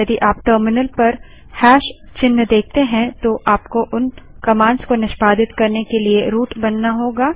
यदि आप टर्मिनल पर हैशचिन्ह देखते हैं तो आपको उन कमांड्स को निष्पादित करने के लिए रूट बनाना होगा